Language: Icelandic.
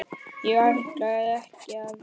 Ég ætlaði ekki að.